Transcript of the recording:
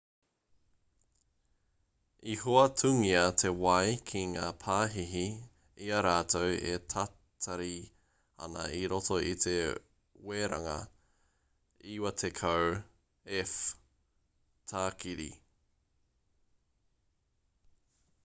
i hoatungia te wai ki ngā pāhihi i a rātou e tatari ana i roto i te weranga 90f-tākiri